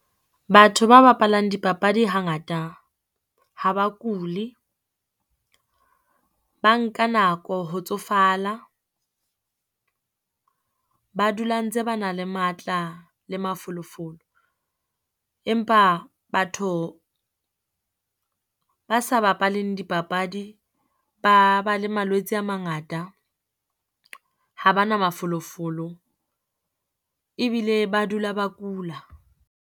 Batho ba bapalang dipapadi hangata ha ba kuli, ba nka nako ho tsofala, ba dula ntse ba na le matla le mafolofolo. Empa batho ba sa bapaleng dipapadi, ba ba le malwetse a mangata. Ha ba na mafolofolo, e bile ba dula ba kula.